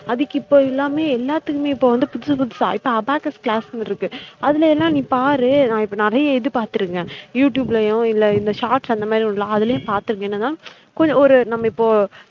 அதுக்கு இப்ப எல்லாமே எல்லாத்துக்குமே இப்ப வந்து புதுசு புதுசா இப்ப abacus class னு இருக்கு அதுல ஏன்னா நீ பாரு நா இப்ப நிறைய இது பாத்திருக்கேன் youtube லயும் இல்ல இந்த shorts அந்த மாறி உண்டுல்ல அதுலையும் பாத்துருக்கேன் என்னனா கொஞ்சம் ஒரு நம்ம இப்போ